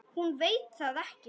Hún veit það ekki.